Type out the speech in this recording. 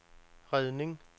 redning